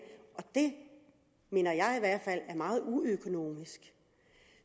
det mener jeg i hvert fald er meget uøkonomisk